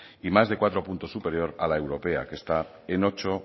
y más de cuatro puntos superior a la europea que está en ocho